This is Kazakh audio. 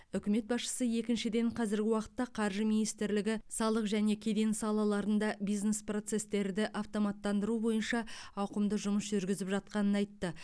үкімет басшысы екіншіден қазіргі уақытта қаржы министрлігі салық және кеден салаларында бизнес процестерді автоматтандыру бойынша ауқымды жұмыс жүргізіп жатқанын айтты